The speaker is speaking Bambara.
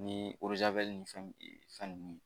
Ni ni fɛn ninnu